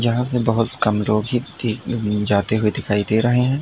यहां में बहुत कम जाते हुए दिखाई दे रहे हैं।